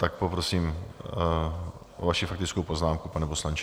Tak poprosím o vaši faktickou poznámku, pane poslanče.